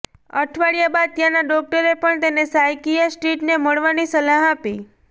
અઠવાડિયા બાદ ત્યાંના ડોક્ટરે પણ તેને સાઇકિયાટ્રીસ્ટને મળવાની સલાહ આપી